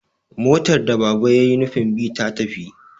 motar da Baba ya yi nufin bi ta tafi